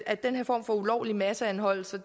at den her form for ulovlig masseanholdelse